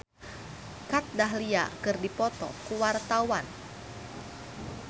Citra Scholastika jeung Kat Dahlia keur dipoto ku wartawan